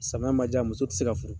Samiya ma ja muso ti se ka furu.